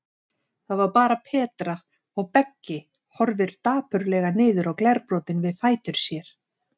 Það var bara Petra, og Beggi horfir dapurlega niður á glerbrotin við fætur sér.